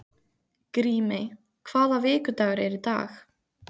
Grímey, hvaða vikudagur er í dag?